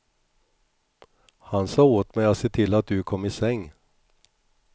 Han sa åt mig att se till att du kom i säng.